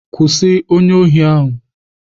Kwụsị onye ohi ahụ!